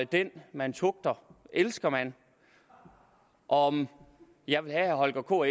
den man tugter elsker man om jeg vil have herre holger k